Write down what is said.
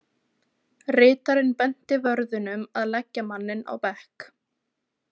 Ritarinn benti vörðunum að leggja manninn á bekk.